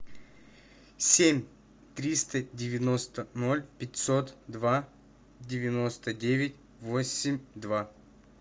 семь триста девяносто ноль пятьсот два девяносто девять восемь два